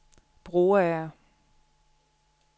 Broager